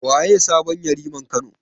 Waye sabon Yariman Kano?